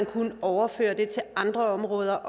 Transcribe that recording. kunne overføre det til andre områder